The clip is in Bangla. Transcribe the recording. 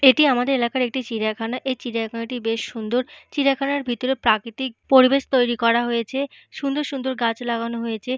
এটি আমাদের এলাকার একটি চিড়িয়াখানা। এই চিড়িয়াখানাটি বেশ সুন্দর। চিড়িয়াখানার ভেতরে প্রাকৃতিক প্রবেশ তৈরি করা হয়েছে। সুন্দর সুন্দর গাছ লাগানো হয়েছে।